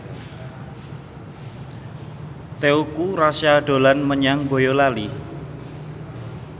Teuku Rassya dolan menyang Boyolali